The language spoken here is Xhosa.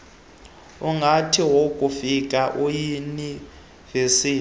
ungathi wakufika eyunivesiti